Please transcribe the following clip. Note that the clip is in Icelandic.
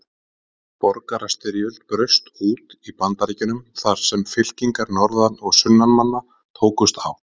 Borgarastyrjöld braust út í Bandaríkjunum þar sem fylkingar norðan- og sunnanmanna tókust á.